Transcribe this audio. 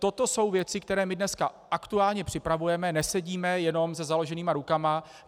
To jsou věci, které my dnes aktuálně připravujeme, nesedíme jenom se založenýma rukama.